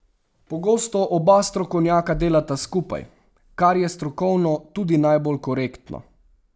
Pogosto oba strokovnjaka delata skupaj, kar je strokovno tudi najbolj korektno.